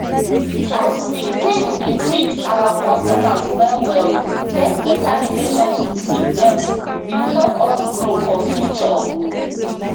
as we take dey treat oir customers well well get beta relationship with dem bin help us grow for future